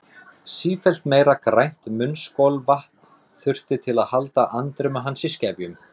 Sífellt meira grænt munnskolvatn þurfti til að halda andremmu hans í skefjum.